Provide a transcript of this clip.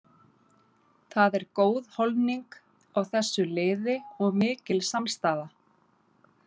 Það er góð holning á þessu liði og mikil samstaða.